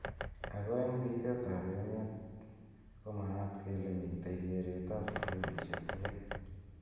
Ako eng pi tet ab emet komaata kele mitei keret ap sukulishek tugul.